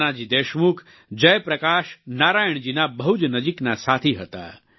નાનાજી દેશમુખ જયપ્રકાશ નારાયણ જીના બહુ જ નજીકના સાથી હતા